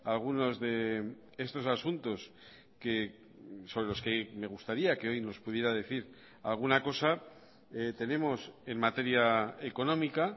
algunos de estos asuntos que son los que me gustaría que hoy nos pudiera decir alguna cosa tenemos en materia económica